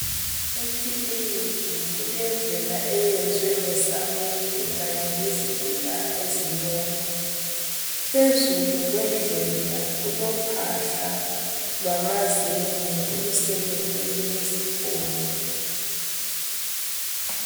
Ekiliniki kulendlela eyenzwe ngesamende lezitina ezibomvu, phezulu kwendlela kulophahla lwamazenge olusekelwe lezigodo.